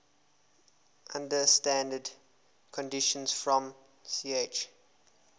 under standard conditions from ch